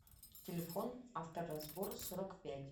телефон авторазбор сорок пять